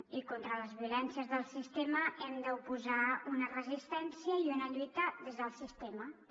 i contra les violències del sistema hi hem d’oposar una resistència i una lluita des del sistema també